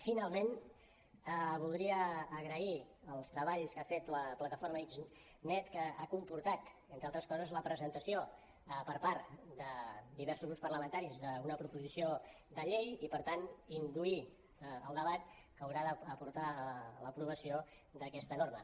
finalment voldria agrair els treballs que ha fet la plataforma xnet que ha comportat entre altres coses la presentació per part de diversos grups parlamentaris d’una proposició de llei i per tant induir el debat que haurà de portar a l’aprovació d’a questa norma